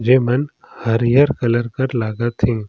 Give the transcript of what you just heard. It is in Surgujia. जेमन हरियर कलर कर लागा थे ।